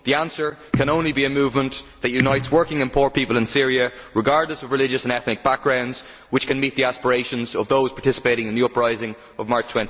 The answer can only be a movement that unites working and poor people in Syria, regardless of religious and ethnic background, which can meet the aspirations of the participants in the uprising of March